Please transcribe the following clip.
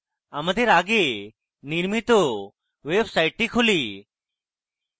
আমাদের আগে নির্মিত ওয়েবসাইটটি খুলি